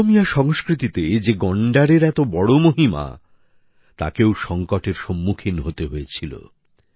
অসমীয়া সংস্কৃতিতে যে গন্ডারের এত বড় মহিমা তাকেও সংকটের সম্মুখীন হতে হয়েছিল